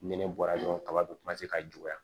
Nɛnɛ bɔra dɔrɔn kaba be ka juguya